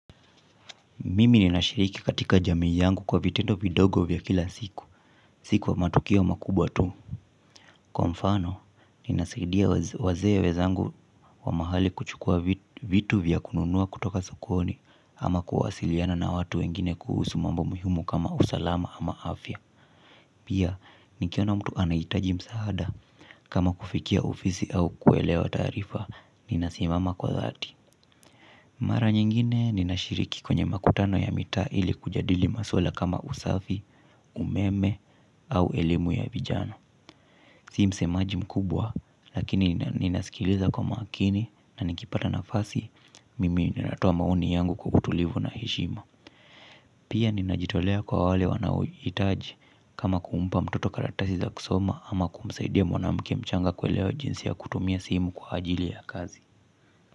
Mimi ninashiriki katika jamii yangu kwa vitendo vidogo vya kila siku, siku wa matukio makubwa tu. Kwa mfano, ninasaidia wazee wenzangu wa mahali kuchukua vitu vya kununua kutoka sokoni ama kuwasiliana na watu wengine kuhusu mambo muhimu kama usalama ama afya. Pia, nikiona mtu anahitaji msaada kama kufikia ofisi au kuelewa taarifa, ninasimama kwa dhati. Mara nyingine ninashiriki kwenye makutano ya mita ili kujadili maswala kama usafi, umeme au elimu ya vijana. Si msemaji mkubwa lakini ninasikiliza kwa makini na nikipata nafasi mimi ninatoa maoni yangu kwa utulivu na heshima. Pia ninajitolea kwa wale wanaohitaji kama kumpa mtoto karatasi za kusoma ama kumsaidia mwanamke mchanga kuelewa jinsi ya kutumia simu kwa ajili ya kazi.